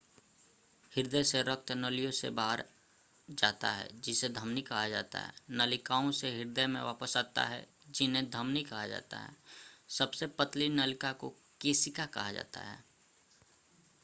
हृदय से रक्त नलियों से बाहर जाता है जिन्हें धमनी कहा जाता है नलिकाओं से हृदय में वापस आाता है जिन्हें धमनी कहा जाता है सबसे पतली नलिका को केशिका कहा जाता है